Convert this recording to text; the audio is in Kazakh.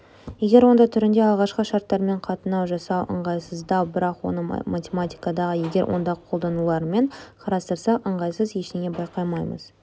егер онда түрінде алғашқы шарттармен қатынау жасау ыңғайсыздау бірақ оны математикадағы егер онда қолдануларымен қарастырсақ ыңғайсыз ештеңе байқамаймыз